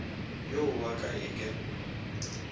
yo wa ka e ke